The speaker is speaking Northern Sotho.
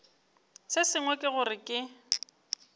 se sengwe ke gore ke